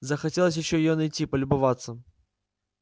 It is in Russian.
захотелось ещё её найти полюбоваться